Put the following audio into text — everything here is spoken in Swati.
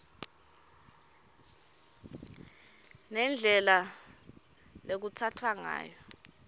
nendlela lekutsatfwa ngayo